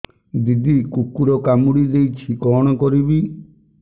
ଦିଦି କୁକୁର କାମୁଡି ଦେଇଛି କଣ କରିବି